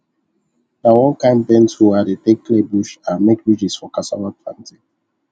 na one kind bent hoe i dey take clear bush and make ridges for cassava planting